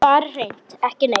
Bara hreint ekki neitt.